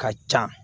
Ka ca